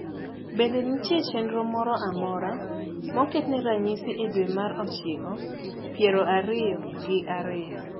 bende nitie chenro moro amora moketne ranyisi e dwe mar ochiko piero ariyo gi ariyo